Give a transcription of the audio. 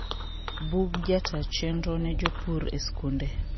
bug jataa chenro ne jopur e skunde